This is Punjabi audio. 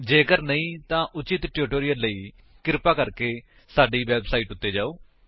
ਜੇਕਰ ਨਹੀਂ ਤਾਂ ਉਚਿਤ ਟਿਊਟੋਰਿਅਲ ਲਈ ਕ੍ਰਿਪਾ ਸਾਡੀ ਵੇਬਸਾਈਟ ਉੱਤੇ ਜਾਓ